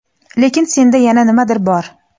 Lekin senda yana nimadir bor.